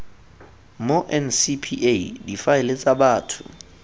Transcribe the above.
mo ncpa difaele tsa batho